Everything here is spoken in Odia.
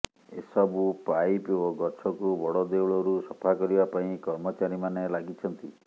ଏସବୁ ପାଇପ୍ ଓ ଗଛକୁ ବଡ଼ ଦେଉଳରୁ ସଫା କରିବା ପାଇଁ କର୍ମଚାରୀମାନେ ଲାଗିଛନ୍ତି